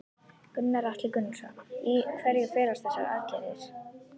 Gunnar Atli Gunnarsson: Í hverju felast þessa aðgerðir?